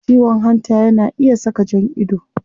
Ciwon hanta yana iya saka jan ido